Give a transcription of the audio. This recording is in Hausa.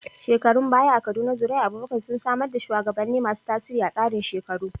Shekarun baya a Kaduna, zuri'ar Abubakar sun samar da shugabanni masu tasiri a tsarin shekaru.